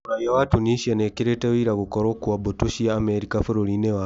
Mũraia wa Tunisia nĩekĩrĩte wĩira gũkorwo kwa mbũtũ cia Amerika bũrũri-inĩ wao